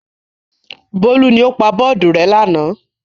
Bólú ni ó pa bọ́ọ́dù rẹ́ lánàá.